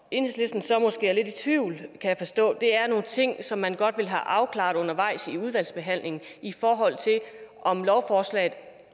enhedslisten så måske er lidt i tvivl kan jeg forstå er til nogle ting som man godt vil have afklaret undervejs i udvalgsbehandlingen i forhold til om lovforslaget